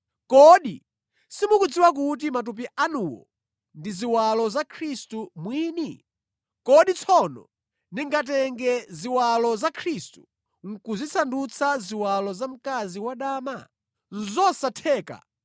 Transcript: Kodi simukudziwa kuti matupi anuwo ndi ziwalo za Khristu mwini? Kodi tsono ndingatenge ziwalo za Khristu nʼkuzisandutsa ziwalo za mkazi wadama? Zosatheka!